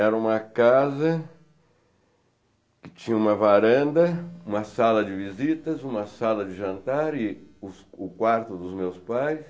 Era uma casa que tinha uma varanda, uma sala de visitas, uma sala de jantar e os o quarto dos meus pais.